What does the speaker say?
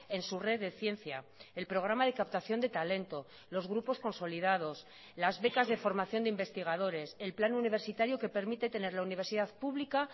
en su red de ciencia el programa de captación de talento los grupos consolidados las becas de formación de investigadores el plan universitario que permite tener la universidad pública